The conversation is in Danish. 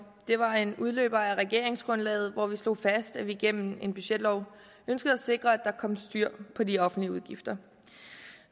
det var en udløber af regeringsgrundlaget hvor vi slog fast at vi gennem en budgetlov ønskede at sikre at der kom styr på de offentlige udgifter